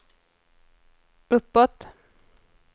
uppåt